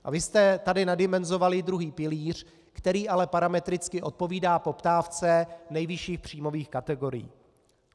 A vy jste tady nadimenzovali druhý pilíř, který ale parametricky odpovídá poptávce nejvyšších příjmových kategorií.